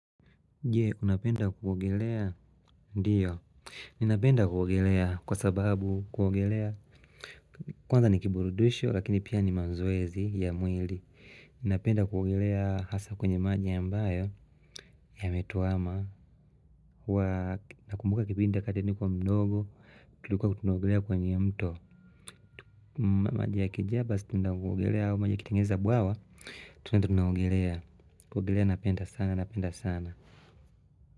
Jee unapenda kuogelea? Ndio Ninapenda kuogelea kwa sababu kuogelea Kwanza ni kiburudisho lakini pia ni mazoezi ya mwili Ninapenda kuogelea hasa kwenye maji ya ambayo yametuama huwa nakumbuka kipinda wakati nilikuwa mdogo tulikuwa tunaogelea kwenye mto maji ya kijaa basi tunaenda kuogelea au maji ya kitengeza buawa tunaenda tunaogelea kuogelea napenda sana.